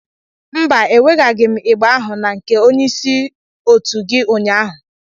Mba, ewegaghị m igba ahụ na nke onye isi òtú gị ụnyahụ